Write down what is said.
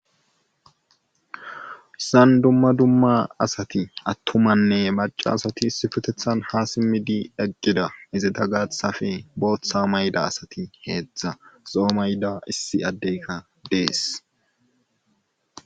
san dumma dumma asati attumanne maca asati sifutethan ha simmidi eggida izeta gaathafe bootha mayda asati heedzdza zoo mayda issi addeyka dees